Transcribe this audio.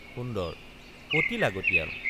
সুন্দৰ—অতি লাগতিয়াল।